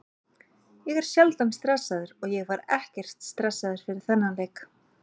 Ég er sjaldan stressaður og ég var ekkert stressaður fyrir þennan leik.